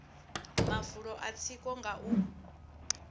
mafulo a tsiko nga u